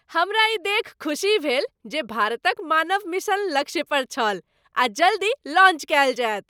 हमरा ई देखि खुसी भेल जे भारतक मानव मिशन लक्ष्य पर छल आ जल्दी लॉन्च कयल जायत।